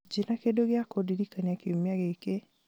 njĩĩra kĩndũ gĩa kũndirikania kiumia gĩĩkĩ